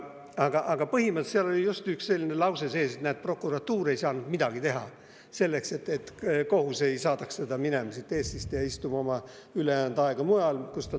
Aga põhimõtteliselt oli artiklis just selline lause, et prokuratuur ei saanud midagi teha, et kohus ei saadaks meest Eestist minema, et ta istuks oma ülejäänud aja mujal.